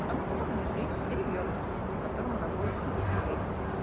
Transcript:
потому что у неё есть ребёнок с которым она будет сидеть периодически